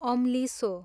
अम्लिसो